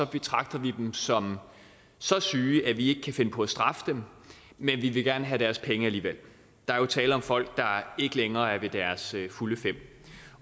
betragter vi dem som så syge at vi ikke kan finde på at straffe dem men vi vil gerne have deres penge alligevel der er jo tale om folk der ikke længere er ved deres fulde fem